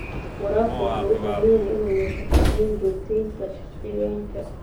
Waraabka wuxuu u baahan yahay inuu yeesho qorshooyin joogtaynta deegaanka.